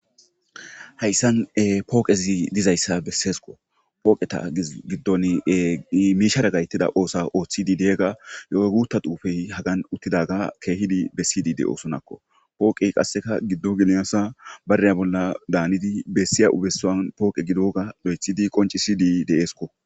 Haysan pooqez dizaysa besesiko. Pooqeta gidon mishshara gayetida osa othid diya Gita xufey hagan utidaga keehid besid de'osonako. Pooqey qase gido ginasa betiya Gina danid esiya osuwan pooqe gidoga lo'etid qoncisid de'esko.